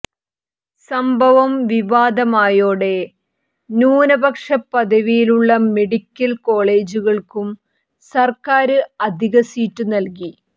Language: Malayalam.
സംഭവം വിവാദമായതോടെ ന്യൂനപക്ഷ പദവിയുള്ള മെഡിക്കല് കോളേജുകള്ക്കും സര്ക്കാര് അധിക സീറ്റ് നല്കി